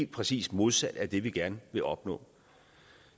præcis modsat af det vi gerne vil opnå